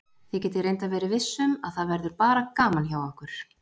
Þið getið reyndar verið viss um að það verður bara gaman hjá okkur.